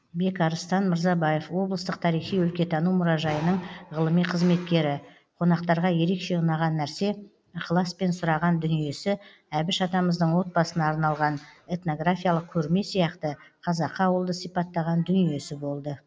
бекарыстан мырзабаев облыстық тарихи өлкетану мұражайының ғылыми қызметкері қонақтарға ерекше ұнаған нәрсе ықыласпен сұраған дүниесі әбіш атамыздың отбасына арналған этнографиялық көрме сияқты қазақы ауылды сипаттаған дүниесі болды